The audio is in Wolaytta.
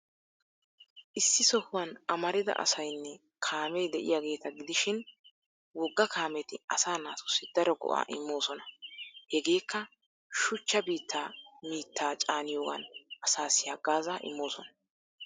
Issi sohuwan amarida asaynne kaamee de'iyaageeta gidishin wogga kaameti asaa naatussi daro go''aa immoosona. Hegeekka shuchchaa biittaa mittaa caaniyoogan asaassi haggaazaa immoosona.